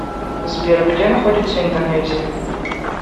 сбер где находится индонезия